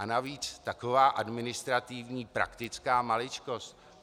A navíc taková administrativní praktická maličkost.